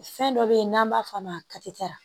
Fɛn dɔ be ye n'an b'a f'a ma